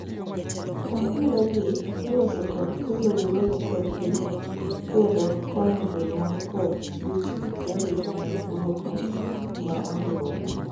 ohinga gi iloso kod kelo wuoyo kod gi kendo konyo jonyuol kod jochiw arita mana duoko ma oriwore